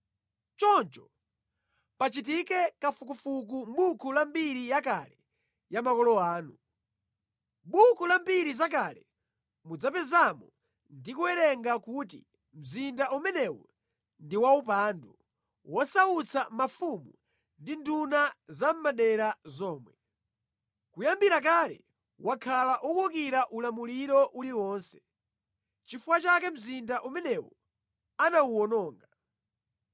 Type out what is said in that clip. Choncho pachitike kafukufuku mʼbuku la mbiri yakale ya makolo anu. Mʼbuku la mbiri zakale mudzapezamo ndi kuwerenga kuti mzinda umenewu ndi waupandu, wosautsa mafumu ndi nduna zamʼmadera zomwe. Kuyambira kale wakhala ukuwukira ulamuliro uliwonse. Nʼchifukwa chake mzinda umenewu anawuwononga.